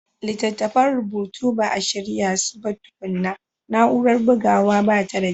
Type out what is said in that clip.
Littattafan rubutu ba a shirya su ba tukuna, na'urar bugawa ba ta da kyau.